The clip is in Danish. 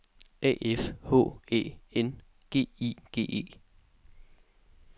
A F H Æ N G I G E